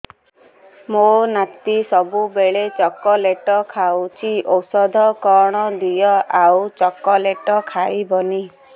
ମୋ ନାତି ସବୁବେଳେ ଚକଲେଟ ଖାଉଛି ଔଷଧ କଣ ଦିଅ ଆଉ ଚକଲେଟ ଖାଇବନି